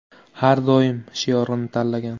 Har doim!” shiorini tanlagan.